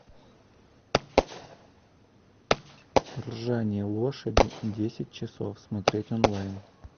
ржание лошади десять часов смотреть онлайн